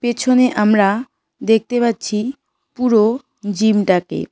পেছনে আমরা দেখতে পাচ্ছি পুরো জিমটাকে।